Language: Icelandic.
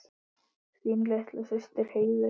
Þín litla systir, Heiður.